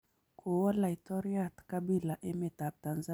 Kowo laitoryat Kabila emet ab Tanzania